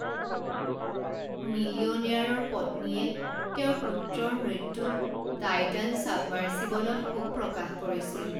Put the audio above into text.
মিলিয়নেয়াৰৰ পত্নীয়ে তেওঁৰ পুত্ৰৰ মৃত্যুত টাইটান চাবমাৰ্ছিবলত শোক প্ৰকাশ কৰিছিল।